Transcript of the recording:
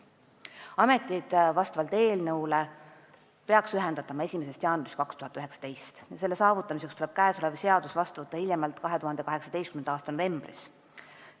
Ametid peaks vastavalt eelnõule ühendatama 1. jaanuarist 2019 ja selle saavutamiseks tuleb seadus vastu võtta hiljemalt 2018. aasta novembris.